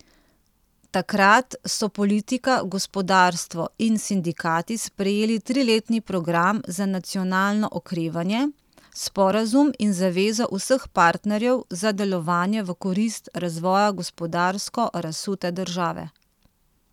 Takrat so politika, gospodarstvo in sindikati sprejeli triletni Program za nacionalno okrevanje, sporazum in zavezo vseh partnerjev za delovanje v korist razvoja gospodarsko razsute države.